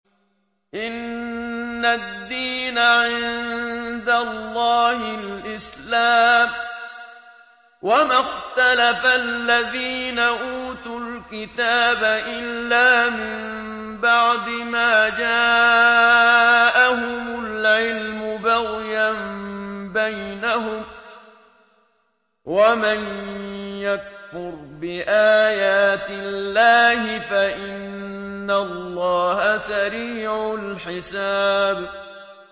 إِنَّ الدِّينَ عِندَ اللَّهِ الْإِسْلَامُ ۗ وَمَا اخْتَلَفَ الَّذِينَ أُوتُوا الْكِتَابَ إِلَّا مِن بَعْدِ مَا جَاءَهُمُ الْعِلْمُ بَغْيًا بَيْنَهُمْ ۗ وَمَن يَكْفُرْ بِآيَاتِ اللَّهِ فَإِنَّ اللَّهَ سَرِيعُ الْحِسَابِ